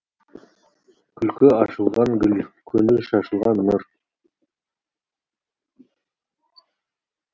күлкі ашылған гүл көңіл шашылған нұр